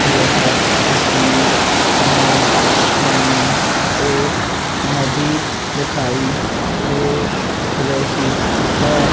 यह तस्वीर में हमें एक नदी दखाई दे रही है।